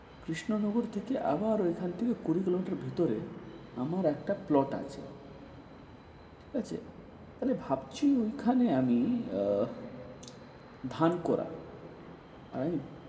কৃষ্ণনগর থেকে আবার ঐখান থেকে কুড়িগ্রাম থেকে ভিতরে আমার একটা plot আছে, ঠিক আছে? তবে ভাবছি ঐখানে আমি আহ ধান করার। আর